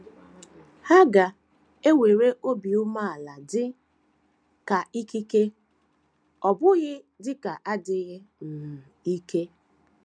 Ha ga - ewere obi umeala dị ka ikike, ọ bụghị dị ka adịghị um ike.